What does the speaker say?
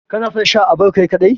Kana son Sha à bar Kai kadai?